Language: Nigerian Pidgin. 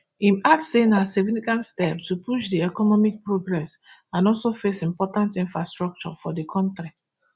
im add say na significant step to push di economic progress and also face important infrastructure for di kontri